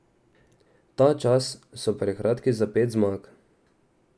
Ta čas so prekratki za pet zmag.